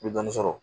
N bɛ dɔɔnin sɔrɔ